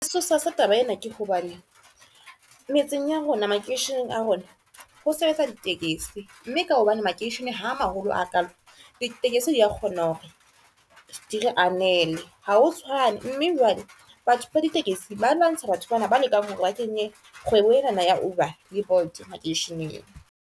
Sesosa sa taba ena ke hobaneng metseng ya rona makeisheneng a rona, ho sebetsa ditekesi, mme ka hobane makeishene ha maholo ha kalo di tekesi, di kgona hore di re anele ha ho tshwane. Mme jwale batho ba ditekesi ba lwantsha batho bana ba lekang hore ba kenye kgwebo ena ya Uber le Bolt makeisheneng.